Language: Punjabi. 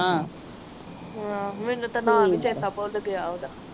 ਅਹ ਮੇਨੂ ਤੇ ਨਾਮ ਹੀ ਚੇਤਾ ਪੁਲ ਗਿਆ ਓਹਦਾ